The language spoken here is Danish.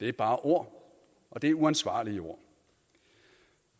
er bare ord og det er uansvarlige ord